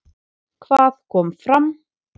Hvað kom fram?